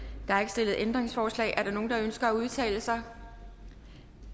der er ikke stillet ændringsforslag er der nogen der ønsker at udtale sig